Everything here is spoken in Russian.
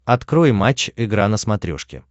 открой матч игра на смотрешке